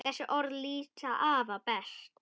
Þessi orð lýsa afa best.